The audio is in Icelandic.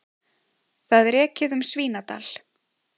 Það er ekið um Svínadal.